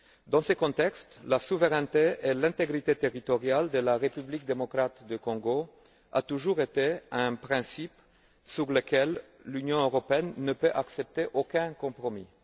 Dans ce contexte, la souveraineté et l'intégrité territoriale de la République démocratique du Congo ont toujours constitué un principe sur lequel l'Union européenne ne peut accepter aucun compromis.